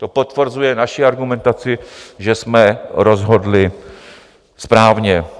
To potvrzuje naši argumentaci, že jsme rozhodli správně.